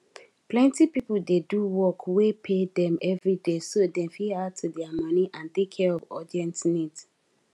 plenty people dey do work wey pay dem every day so dem fit add to their money and take care of urgent needs